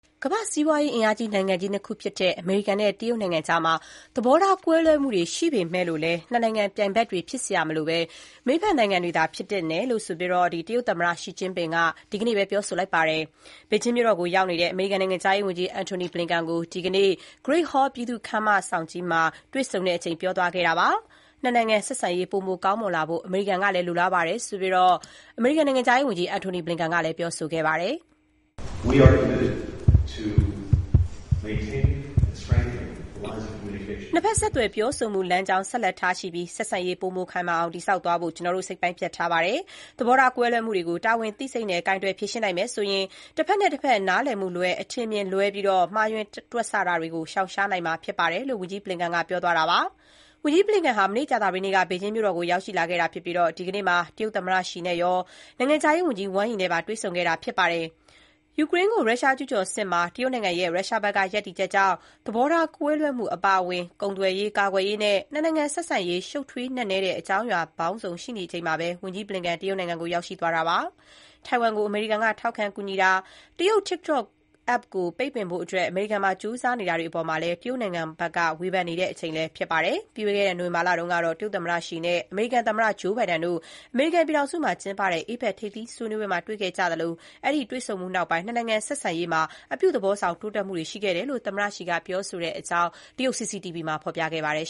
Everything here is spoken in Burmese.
ကမ္ဘာ့စီးပွား အင်အားအကြီးဆုံး နိုင်ငံကြီး ၂ ခုဖြစ်တဲ့ အမေရိကန်နဲ့ တရုတ်ကြား ဆက်ဆံရေးမှာ သဘောထား ကွဲလွဲတာတွေရှိပေမဲ့လို့ နှစ်နိုင်ငံ ပြိုင်ဘက်တွေ ဖြစ်စရာမလိုဘဲ လက်တွဲဖက်နိုင်ငံတွေသာ ဖြစ်သင့်တယ်လို့ တရုတ်သမ္မတ Xi Jinping က ဒီကနေ့ ပြောဆိုလိုက်ပါတယ်။ ဘေဂျင်းမြို့တော်ကို ရောက်နေတဲ့ အမေရိကန်နိုင်ငံခြားရေးဝန်ကြီး Antony Blinken ကို ဒီကနေ့ Great Hall ပြည်သူ့ခန်းမကြီးမှာ တွေ့ဆုံချိန် ပြောသွားတာပါ။ နှစ်နိုင်ငံဆက်ဆံရေး ပိုမို ကောင်းမွန်လာဖို့ အမေရိကန်ကလည်း လိုလားကြောင်းကိုတော့ နိုင်ငံခြားရေးဝန်ကြီး Blinken က ခုလို ပြောဆိုသွားပါတယ်။ "နှစ်ဘက် ဆက်သွယ်ပြောဆိုမှု လမ်းကြောင်း ဆက်လက် ထားရှိပြီး ဆက်ဆံရေး ပိုမို ခိုင်မာအောင် တည်ဆောက်သွားဖို့ ကျနော်တို့ စိတ်ပိုင်းဖြတ် ထားပါတယ်။ သဘောထား ကွဲလွဲမှုတွေကို တာဝန်သိစိတ်နဲ့ ကိုင်တွယ် ဖြေရှင်းနိုင်မယ်ဆိုရင် တဘက်နဲ့တဘက် နားလည်မှုလွဲ၊ အထင်အမြင် လွဲပြီး မှားယွင်းတွက်ဆ တာတွေကို ရှောင်ရှားနိုင်မှာ ဖြစ်ပါတယ်။” − လို့ ဝန်ကြီး Blinken က ပြောသွားတာပါ။ ဝန်ကြီး ဘလင်ကန်ဟာ မနေ့ ကြာသပတေးနေ့က ဘေဂျင်းမြို့ကို ရောက်ရှိလာခဲ့တာ ဖြစ်ပြီး ဒီကနေ့မှာ တရုတ်သမ္မတ ရှီကျင့်ဖျင် အပြင် နိုင်ငံခြားရေးဝန်ကြီး Wang Yi နဲ့ပါ တွေ့ဆုံခဲ့ပါတယ်။ ယူကရိန်းကို ရုရှား ကျုးကျော်စစ်မှာ တရုတ်နိုင်ငံရဲ့ ရုရှားဘက်က ရပ်တည်ချက်ကြောင့် သဘောထား ကွဲလွဲမှု အပါအဝင် ကုန်သွယ်ရေး၊ ကာကွယ်ရေးနဲ့ နှစ်နိုင်ငံဆက်ဆံရေး ရှုပ်ထွေး နက်နဲတဲ့ အကြောင်းအရာ ပေါင်းစုံ ရှိနေချိန်မှာ ဝန်ကြီး Blinken တရုတ်နိုင်ငံကို သွားရောက်တာပါ။ ထိုင်ဝမ်ကို အမေရိကန်ပြည်ထောင်စုက ထောက်ခံ ကူညီတာ၊ တရုတ် TikTok App ကို ပိတ်ပင်ဖို့ ကြိုးစားတာတွေ အပေါ်မှာလည်း တရုတ်နိုင်ငံဘက်က ဝေဖန် နေချိန်လည်း ဖြစ်ပါတယ်။ ပြီးခဲ့တဲ့နှစ် နိုဝင်ဘာလတုန်းကတော့ တရုတ်သမ္မတ ရှီ နဲ့ အမေရိကန်သမ္မတ ဂျိုးဘိုင်ဒန် တို့ အမေရိကန်ပြည်ထောင်စုမှာ ကျင်းပတဲ့ APEC ထိပ်သီး စည်းဝေးမှာ တွေ့ဆုံခဲ့ကြသလို၊ အဲ့ဒီ တွေ့ဆုံမှုနောက်ပိုင်း နှစ်နိုင်ငံ ဆက်ဆံရေးမှာ အပြုသဘောဆောင် တိုးတက်မှုတွေ ရှိခဲ့တယ်လို့ သမ္မတ ရှီက ပြောဆိုခဲ့တဲ့အကြောင်း တရုတ် CCTV သတင်းက ဖော်ပြပါတယ်